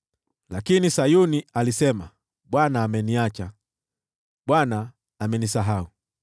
Lakini Sayuni alisema, “ Bwana ameniacha, Bwana amenisahau.”